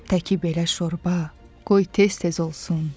Təki belə şorba qoy tez-tez olsun.